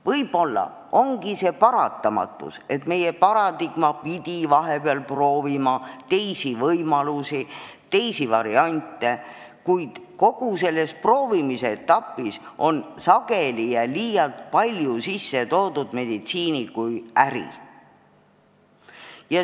Võib-olla ongi see paratamatus, et meie paradigma pidi vahepeal proovima teisi võimalusi, teisi variante, kuid kogu selles proovimise etapis on sageli ja liialt palju sisse toodud meditsiini kui äri.